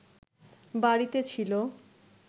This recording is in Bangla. বাড়িতে ছিল